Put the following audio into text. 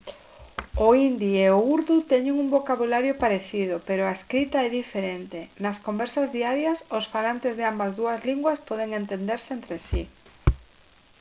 o hindi e o urdú teñen un vocabulario parecido pero a escrita é diferente nas conversas diarias os falantes de ambas as dúas linguas poden entenderse entre si